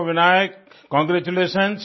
सो Vinayak congratulation